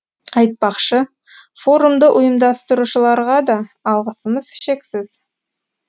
айтпақшы форумды ұйымдастырушыларға да алғысым шексіз